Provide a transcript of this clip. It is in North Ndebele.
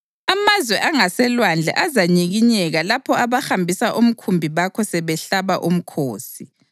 Amazwe angaselwandle azanyikinyeka lapho abahambisa umkhumbi bakho sebehlaba umkhosi.